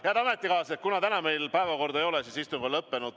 Head ametikaaslased, kuna täna meil päevakorda ei ole, siis istung on lõppenud.